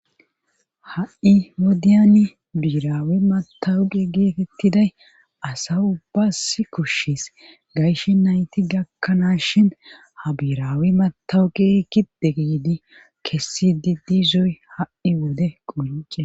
Ha'i wodiyani biiraawi matawuqi geetettiday asa ubbasi kushshis gayshi nayti gakkanaas shin ha biirawi matawuqi riki degidi kessi di dizoy ha'i wode qunce.